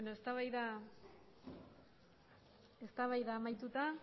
eztabaida amaituta